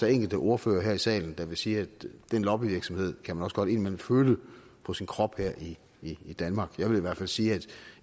er enkelte ordførere her i salen der vil sige at den lobbyvirksomhed kan man også godt indimellem føle på sin krop her i i danmark jeg vil i hvert fald sige at